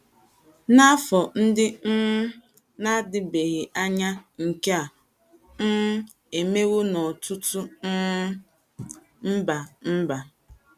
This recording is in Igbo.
N’afọ ndị um na - adịbeghị anya, nke a um emewo n’ọtụtụ um mba mba.